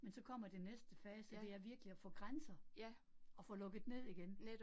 Men så kommer den næste fase, og det er virkelig at få grænser, og få lukket ned igen